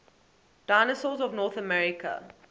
dinosaurs of north america